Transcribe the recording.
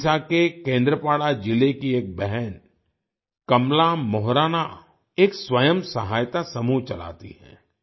ओडिशा के केंद्रपाड़ा जिले की एक बहन कमला मोहराना एक स्वयं सहायता समूह चलाती हैं